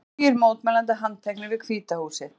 Tugir mótmælenda handteknir við Hvíta húsið